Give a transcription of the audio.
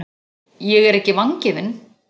Ég er ekki vangefin.